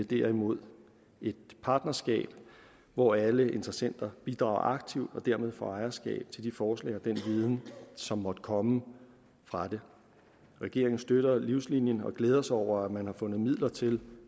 derimod et partnerskab hvor alle interessenter bidrager aktivt og dermed får ejerskab til de forslag og den viden som måtte komme fra det regeringen støtter livslinien og glæder sig over at man har fundet midler til